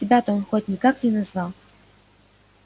тебя-то он хоть никак не назвал